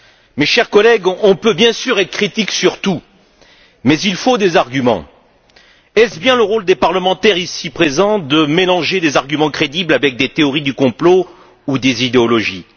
Mes chers collègues, on peut bien sûr être critique sur tout mais il faut des arguments. Est ce bien le rôle des parlementaires ici présents de mélanger des arguments crédibles avec des théories du complot ou des idéologies?